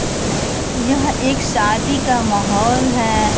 यह एक शादी का माहौल है।